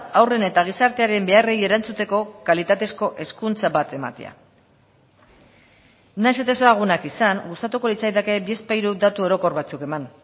haurren eta gizartearen beharrei erantzuteko kalitatezko hezkuntza bat ematea nahiz eta ezagunak izan gustatuko litzaidake bizpahiru datu orokor batzuk eman